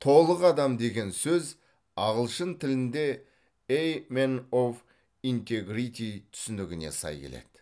толық адам деген сөз ағылшын тіліндегі э мэн оф интегрити түсінігіне сай келеді